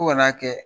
Fo ka n'a kɛ